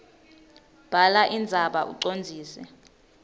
bhala indzaba ucondzise